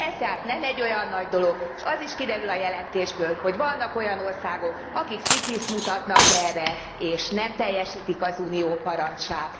Ez tehát nem egy olyan nagy dolog, és az is kiderül a jelentésből, hogy vannak, akik fityiszt mutatnak erre, és nem teljesítik az Unió parancsát.